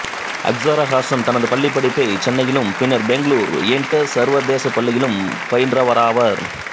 அக்சரா ஹாசன் தனது பள்ளிப்படிப்பை சென்னையிலும் பின்னர் பெங்களூர் இண்டஸ் சர்வதேச பள்ளியிலும் பயின்றவராவார்